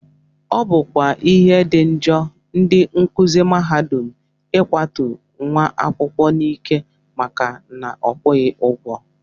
Ọ bụkwa ihe dị njọ ndị nkụzi mahadum ịkwatu nwa akwụkwọ n'ike maka na ọ kwụghị ụgwọ